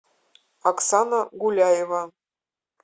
оксана гуляева